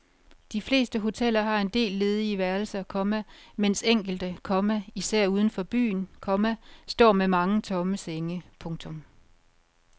De fleste hoteller har en del ledige værelser, komma mens enkelte, komma især uden for byen, komma står med mange tomme senge. punktum